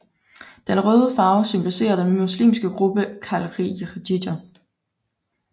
Den røde farve symboliserer den muslimske gruppe kharijiter